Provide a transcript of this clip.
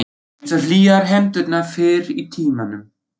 Einsog hlýjar hendurnar fyrr í tímanum.